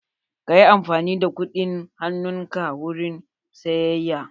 Ka yi amfani da kudin hanun ka wurin sayeyya.